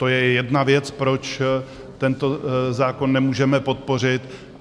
To je jedna věc, proč tento zákon nemůžeme podpořit.